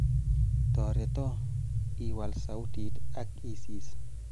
toreto, iwal sautit ak isis